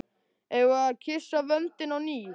Eigum við að kyssa vöndinn á ný?